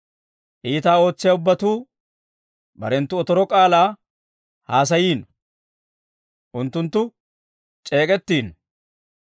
Iitaa ootsiyaa ubbatuu, barenttu otoro k'aalaa haasayiino; unttunttu c'eek'ettiino.